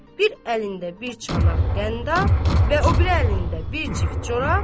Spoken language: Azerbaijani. bir əlində bir çanaq qəndab və o biri əlində bir cift corab.